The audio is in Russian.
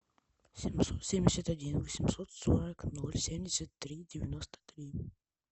семьсот семьдесят один восемьсот сорок ноль семьдесят три девяносто три